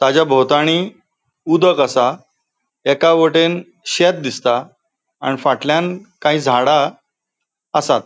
ताजा बोवताणि उदक असा एका वटेन शेत दिसता आणि फाटल्यान काही झाडा आसात.